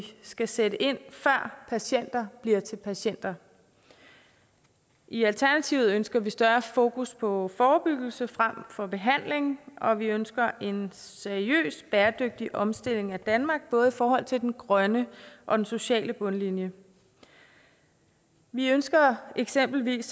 skal sætte ind før patienter bliver til patienter i alternativet ønsker vi større fokus på forebyggelse frem for behandling og vi ønsker en seriøs bæredygtig omstilling af danmark både i forhold til den grønne og den sociale bundlinje vi ønsker eksempelvis